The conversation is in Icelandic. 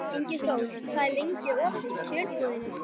Ingisól, hvað er lengi opið í Kjörbúðinni?